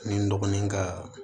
Ni n dɔgɔnin kaa